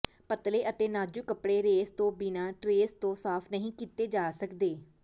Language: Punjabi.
ਪਤਲੇ ਅਤੇ ਨਾਜ਼ੁਕ ਕੱਪੜੇ ਰੇਸ ਤੋਂ ਬਿਨਾਂ ਟਰੇਸ ਤੋਂ ਸਾਫ਼ ਨਹੀਂ ਕੀਤੇ ਜਾ ਸਕਦੇ